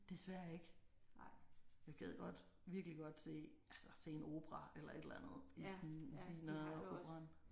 Desværre ikke. Jeg gad godt virkelig godt se altså se en opera eller et eller andet i sådan Wieneroperaen